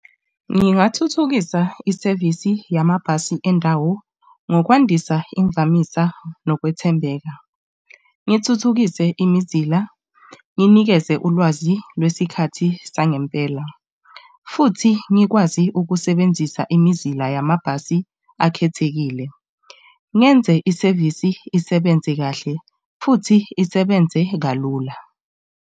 Ngingathuthukisa isevisi yamabhasi endawo ngokwandisa imvamisa nokwethembeka, ngithuthukise imizila, nginikeze ulwazi lwesikhathi sangempela futhi ngikwazi ukusebenzisa imizila yamabhasi akhethekile. Ngenze isevisi isebenze kahle futhi isebenze kalula.